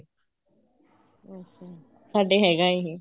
ਸਾਡੇ ਹੈਗਾ ਇਹ